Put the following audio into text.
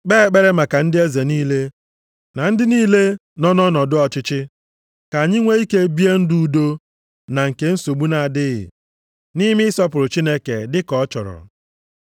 kpee ekpere maka ndị eze niile, na ndị niile nọ nʼọnọdụ ọchịchị, ka anyị nwee ike bie ndụ udo na nke nsogbu na-adịghị, nʼime ịsọpụrụ Chineke dị ka ọ chọrọ.